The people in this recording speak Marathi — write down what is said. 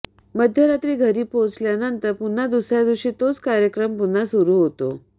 मध्यरात्री घरी पोहोचल्यानंतर पुन्हा दुसऱ्या दिवशी तोच कार्यक्रम पुन्हा सुरु होतो